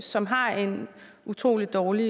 som har en utrolig dårlig